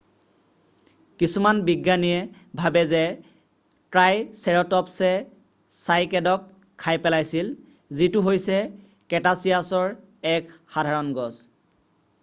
কিছুমান বিজ্ঞানীয়ে ভাবে যে ট্ৰাইচেৰ'টপ্‌ছে চাইকেডক খাই পেলাইছিল যিটো হৈছে ক্ৰেটাছিয়াছৰ এক সাধাৰণ গছ।